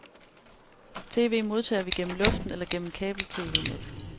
TV modtager vi gennem luften eller gennem kabeltv-net.